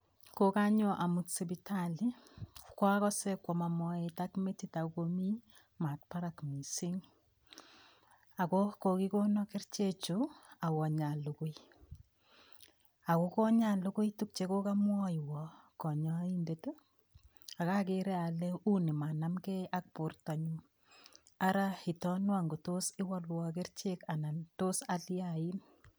Kokanyo amut sipitali kwakose kwomo moet ak metit ako komi maat barak mising' ako kokikono kerichechu awo nyalugui ako konyalugui tukchekokamwoiwo konyoindet akakere ale uu ni manamgei ak bortonyu ara itonwo ngotos iwolwo kerichek anan tos aliyain